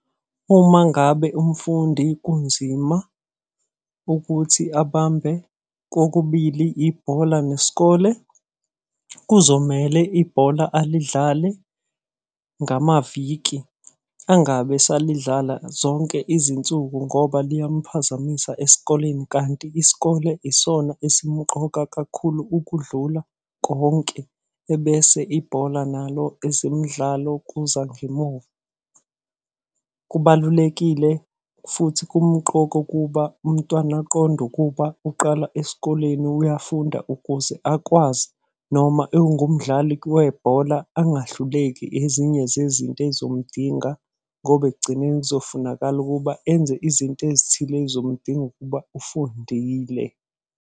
Uma ngabe umfundi kunzima ukuthi abambe kokubili ibhola nesikole, kuzomele ibhola alidlale ngamaviki. Angabe esalidlala zonke izinsuku ngoba liyamphazamisa esikoleni, kanti isikole isona esimuqoka kakhulu ukudlula konke, ebese ibhola nalo, ezimidlalo kuza ngemuva. Kubalulekile futhi kumqoka ukuba umntwana aqonde ukuba uqala esikoleni uyafunda ukuze akwazi, noma engumdlali webhola angahluleki ezinye zezinto ey'zomdinga. Ngoba ekugcineni kuzofunakala ukuba enze izinto ezithile ey'zomdinga ukuba ufundile.